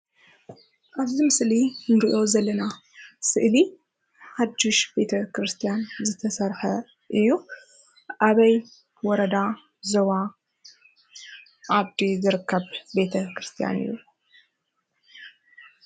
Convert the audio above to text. ኣብ እዚ ምስሊ ንርኦ ዘለና ስእሊ ሓድሽ ቤት ክርስትያን ዝተሰርሐ እዩ። ኣበይ ወረዳ፣ ዞባ፣ ዓዲ፣ ዝርከብ ቤተ ክርስትያን እዩ።